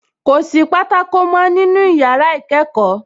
Kò sí pátákó mọ́ nínú yàrá ìkẹ́kọ̀ọ́